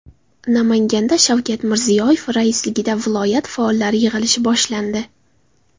Namanganda Shavkat Mirziyoyev raisligida viloyat faollari yig‘ilishi boshlandi.